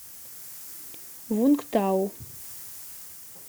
вунгтау